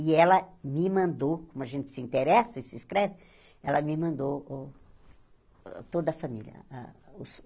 E ela me mandou, como a gente se interessa e se escreve, ela me mandou o toda a família. Ah os